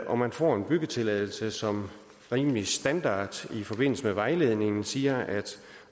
og man får en byggetilladelse som rimelig standardiseret i forbindelse med vejledningen siger